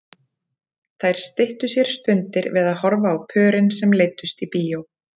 Þær styttu sér stundir við að horfa á pörin sem leiddust í bíó.